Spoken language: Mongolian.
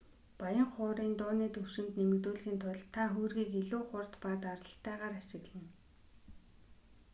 баян хуурын дууны түвшинг нэмэгдүүлэхийн тулд та хөөргийг илүү хурд ба даралттайгаар ашиглана